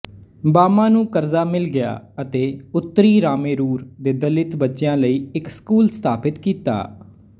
ਬਾਮਾ ਨੂੰ ਕਰਜ਼ਾ ਮਿਲ ਗਿਆ ਅਤੇ ਉੱਤਰੀਰਾਮੇਰੂਰ ਦੇ ਦਲਿਤ ਬੱਚਿਆਂ ਲਈ ਇੱਕ ਸਕੂਲ ਸਥਾਪਤ ਕੀਤਾ